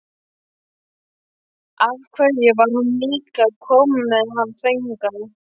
Af hverju var hún líka að koma með hann hingað?